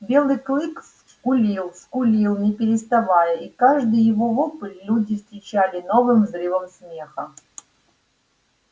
белый клык скулил скулил не переставая и каждый его вопль люди встречали новым взрывом смеха